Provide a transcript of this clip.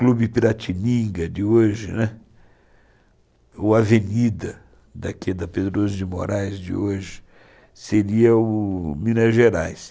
Clube Piratininga de hoje, né, o Avenida, daqui da Pedroso de Moraes de hoje, seria o Minas Gerais.